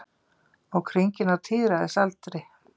Ók hringinn á tíræðisaldri